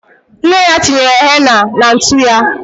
Nne ya tinyere henna na ntu ya.